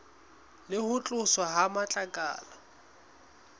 le ho tloswa ha matlakala